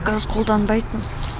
газ қолданбайтын